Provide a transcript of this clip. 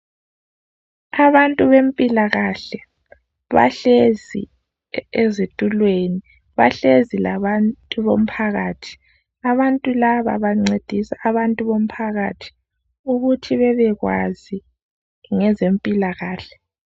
Abantu bempilakahle bahlezi e ezitulweni. Bahlezi labantu bomphakathi. Abantu laba bancedisa abantu bomphakathi ukuthi bebekwazi ngezempilakahle.